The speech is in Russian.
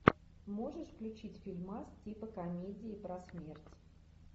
можешь включить фильмас типа комедии про смерть